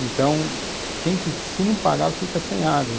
Então, quem que, se não pagar fica sem água.